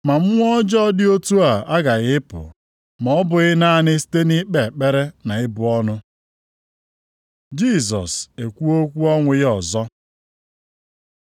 Ma mmụọ ọjọọ dị otu a agaghị apụ, ma ọ bụghị naanị site nʼikpe ekpere na ibu ọnụ.” + 17:21 Ụfọdụ akwụkwọ na-edebanye okwu ndị a dịka ọ dị nʼakwụkwọ \+xt Mak 9:29\+xt*. Jisọs ekwuo okwu ọnwụ ya ọzọ